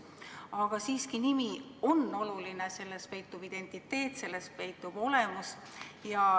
Aga siiski ka nimi on oluline – selles peitub identiteet, selles peitub olemus.